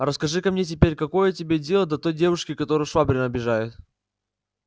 расскажи-ка мне теперь какое тебе дело до той девушки которую швабрин обижает